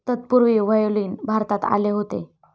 तत्पूर्वी व्हायोलीन भारतात आले होते.